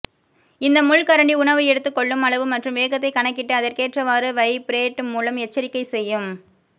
இந்த முள் கரண்டி உணவு எடுத்து கொள்ளும் அளவு மற்றும் வேகத்தை கணக்கிட்டு அதற்கேற்றவாரு வைப்ரேட் மூலம் எச்சரிக்கை செய்யும்